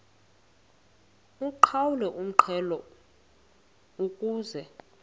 uqhawulwe umxhelo ukuze